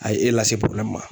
A ye e lase ma.